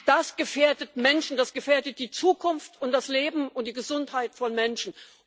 Das gefährdet Menschen, das gefährdet die Zukunft und das Leben und die Gesundheit von Menschen.